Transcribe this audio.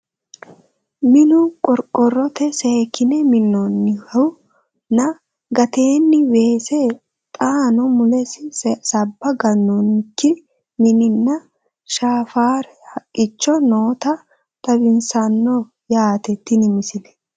Minnu qoriqorotte seekkinne minnoonnihu nna gateenni weesse, xaanno mulessi sabba ganoonikki mini nna, naffara haqicho nootta xawissanno yaatte tini misile